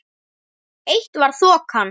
Eitt var þokan.